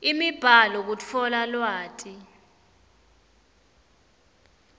imibhalo kutfola lwati